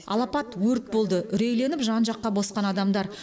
алапат өрт болды үрейленіп жан жаққа босқан адамдар